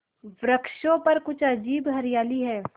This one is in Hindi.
वृक्षों पर कुछ अजीब हरियाली है